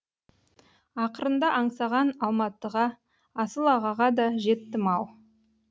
ақырында аңсаған алматыға асыл ағаға да жеттім ау